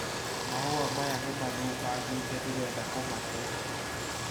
Mahua maya nĩ mathũkangĩte ndĩrenda kũmatee